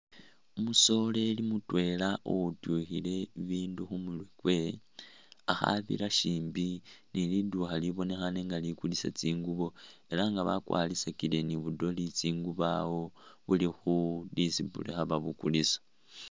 Umusoreri mutwela uwityukhile bindu khu murwe kwe akhabira shimbi ni lidukha lubonekhaane nga likulisa tsingubo ela nga bakwarisile ni bu Dolly tsingubo awo buli khu display khaba bukulisa.